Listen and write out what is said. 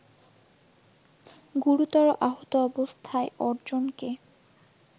গুরুতর আহত অবস্থায় অর্জনকে